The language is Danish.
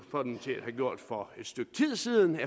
have gjort det for et stykke tid siden